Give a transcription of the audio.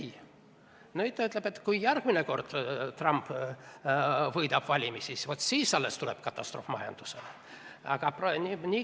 Ei, nüüd ta ütleb, et kui Trump järgmine kord valimised võidab, vot siis alles tuleb majanduses katastroof.